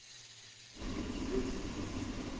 bezeki